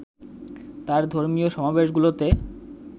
তার ধর্মীয় সমাবেশগুলোতে